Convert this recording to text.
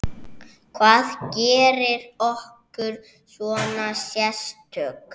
Hvað gerir okkur svona sérstök?